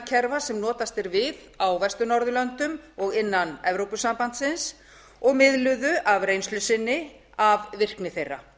fiskveiðistjórnarkerfa sem notast er við á vestur norðurlöndum og innan evrópusambandsins og miðluðu af reynslu sinni af virkni þeirra